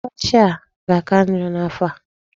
Ọkọchị a ga-aka njọ n'afọ a?